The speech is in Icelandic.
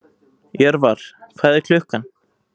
Jörvar, hvað er klukkan?